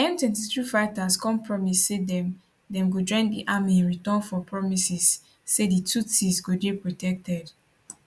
m23 fighters come promise say dem dem go join di army in return for promises say di tutsis go dey protected